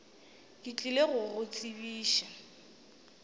ke tlile go go tsebiša